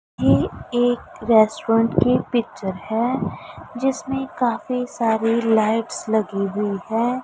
ये एक रेस्टोरेंट की पिक्चर है जिसमें काफी सारी लाइट्स लगी हुई है।